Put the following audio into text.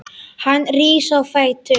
Hann rís á fætur.